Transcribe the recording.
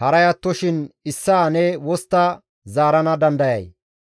haray attoshin issaa ne wostta zaarana dandayay?